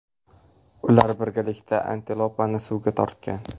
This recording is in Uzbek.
Ular birgalikda antilopani suvga tortgan.